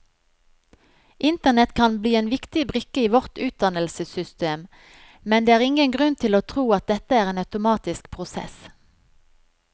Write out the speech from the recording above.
Internett kan bli en viktig brikke i vårt utdannelsessystem, men det er ingen grunn til å tro at dette er en automatisk prosess.